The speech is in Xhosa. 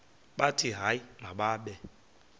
bathi hayi mababe